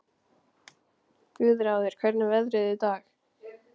Guðráður, hvernig er veðrið í dag?